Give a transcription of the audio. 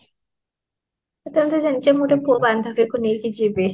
ତା ହେଲେ ତମେ ଜାଣିଛ ମୁ ଗୋଟେ ପୁଅ ବାନ୍ଧବୀ କୁ ନେଇକି ଯିବି